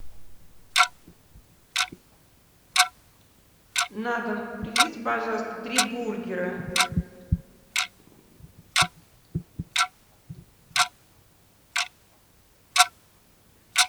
на дом привезите пожалуйста три бургера